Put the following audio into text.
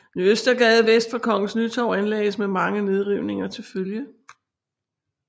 Ny Østergade vest for Kongens Nytorv anlagdes med mange nedrivninger til følge